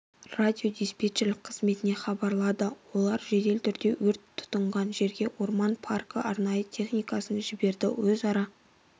радиодиспетчерлік қызметіне хабарлады олар жедел түрде өрт тұтанған жерге орман паркі арнайы техникасын жіберді өзара